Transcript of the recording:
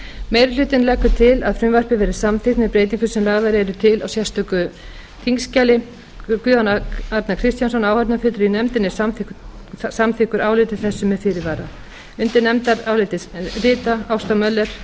meiri hlutinn leggur til að frumvarpið verði samþykkt með breytingum sem lagðar eru til í sérstöku þingskjali guðjón a kristjánsson áheyrnarfulltrúi í nefndinni er samþykkur áliti þessu með fyrirvara undir nefndarálitið rita ásta möller